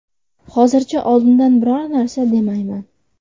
Hozircha oldindan biror narsa demayman.